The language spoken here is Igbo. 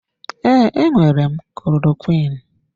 Ee, enwere m klorokwiin.